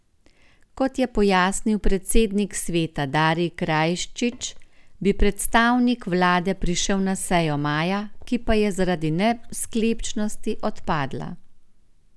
Kot je pojasnil predsednik sveta Darij Krajčič, bi predstavnik vlade prišel na sejo maja, ki pa je zaradi nesklepčnosti odpadla.